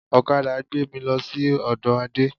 Ọ̀kadà gbé mì lọ sí ọdọ Ade